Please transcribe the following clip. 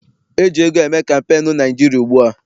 E ji ego eme kampeenu na Naịjirịa ugbua.